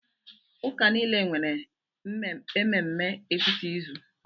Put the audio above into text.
Ụka niile nwere mmemme etiti izu.